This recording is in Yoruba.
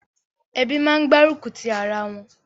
Ebí máa ń gbárùkù ti ara wọn.